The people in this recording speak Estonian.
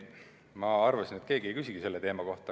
Ma arvasin, et keegi ei küsigi selle teema kohta.